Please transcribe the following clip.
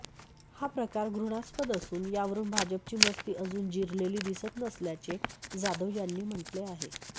हा प्रकार घृणास्पद असून यावरून भाजपची मस्ती अजून जिरलेली दिसत नसल्याचे जाधव यांनी म्हटले आहे